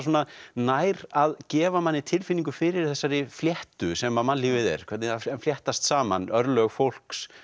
nær að gefa manni tilfinningu fyrir þessari fléttu sem að mannlífið er hvernig það fléttast saman örlög fólks